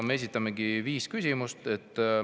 Me esitame viis küsimust.